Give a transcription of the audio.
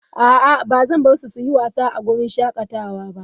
A'a, ba zan bar su su yi wasa a wurin shakatawa ba.